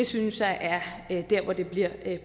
synes jeg er der hvor det bliver